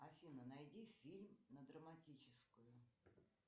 афина найди фильм на драматическую